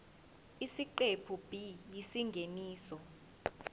isiqephu b isingeniso